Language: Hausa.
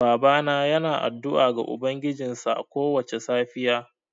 Babana yana addu'a ga ubangijinsa kowace safiya.